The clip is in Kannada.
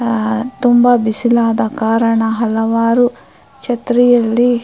ಆ ತುಂಬಾ ಬಿಸಿಲಾದ ಕಾರಣ ಹಲವಾರು ಛತ್ರಿಯಲ್ಲಿ --